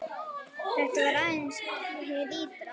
Þetta var aðeins hið ytra.